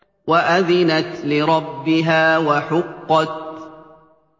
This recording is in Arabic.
وَأَذِنَتْ لِرَبِّهَا وَحُقَّتْ